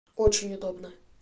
очень удобно